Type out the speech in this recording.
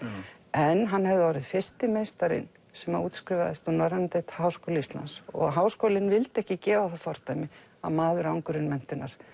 en hann hefði orðið fyrsti meistarinn sem útskrifaðist úr norrænudeild Háskóla Íslands og Háskólinn vildi ekki gefa það fordæmi að maður án grunnmenntunar